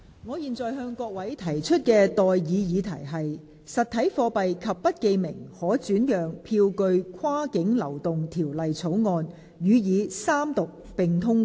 我現在向各位提出的待議議題是：《實體貨幣及不記名可轉讓票據跨境流動條例草案》予以三讀並通過。